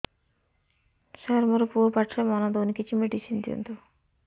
ସାର ମୋର ପୁଅ ପାଠରେ ମନ ଦଉନି କିଛି ମେଡିସିନ ଦିଅନ୍ତୁ